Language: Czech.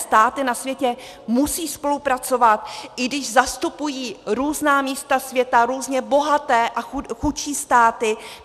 Státy na světě musí spolupracovat, i když zastupují různá místa světa, různě bohaté a chudší státy.